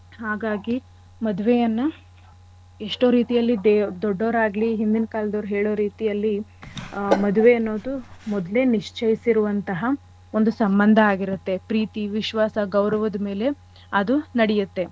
ಹಾಗಾಗಿ ಮದ್ವೆಯನ್ನ ಎಷ್ಟೋ ರೀತಿಯಲ್ಲಿ ದೆ~ ದೊಡ್ಡೊರಾಗ್ಲಿ ಹಿಂದಿನ್ ಕಾಲ್ದವ್ರ್ ಹೇಳೋ ರೀತಿಯಲ್ಲಿ ಆ ಮದ್ವೆ ಅನ್ನೋದು ಮೊದ್ಲೆ ನಿಶ್ಚಯಿಸಿರುವಂಥಹ ಒಂದು ಸಂಬಂಧ ಆಗಿರತ್ತೆ. ಪ್ರೀತಿ ವಿಶ್ವಾಸ ಗೌರವದ್ ಮೇಲೆ ಅದು ನಡೆಯತ್ತೆ.